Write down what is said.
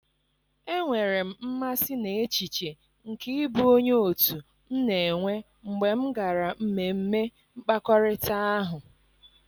enwere m mmasị n 'echiche nke ịbụ onye otu m na-enwe mgbe m gara mmemme mkpakọrịta ahụ.